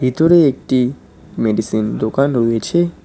ভিতরে একটি মেডিসিন দোকান রয়েছে।